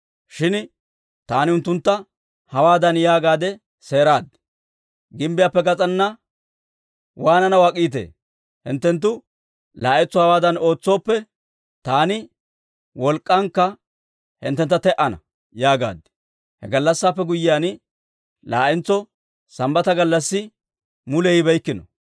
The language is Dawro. Shin taani unttuntta hawaadan yaagaadde seeraad; «Gimbbiyaappe gas'ana waananaw ak'iitee? Hinttenttu laa'entso hewaadan ootsooppe, taani wolk'k'ankka hinttentta te"ana» yaagaad. He gallassaappe guyyiyaan, laa'entso Sambbata gallassi mule yibeykkino.